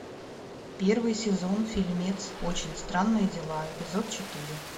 первый сезон фильмец очень странные дела эпизод четыре